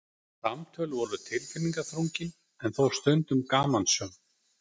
Samtöl voru tilfinningaþrungin en þó stundum gamansöm.